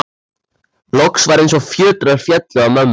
Loks var eins og fjötrar féllu af mömmu.